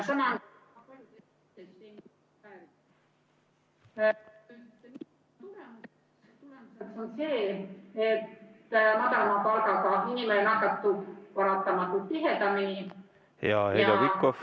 ...... see, et madalama palgaga inimene nakatub paratamatult tihedamini ja madalam palk ...